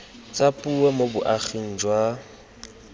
tsa puo mo boaging jwa